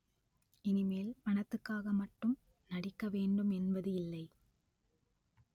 இனிமேல் பணத்துக்காக மட்டும் நடிக்க வேண்டும் என்பது இல்லை